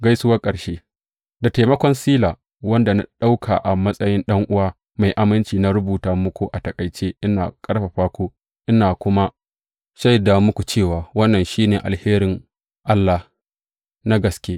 Gaisuwar ƙarshe Da taimakon Sila, wanda na ɗauka a matsayin ɗan’uwa mai aminci, na rubuta muku a taƙaice, ina ƙarfafa ku ina kuma shaida muku cewa wannan shi ne alherin Allah na gaske.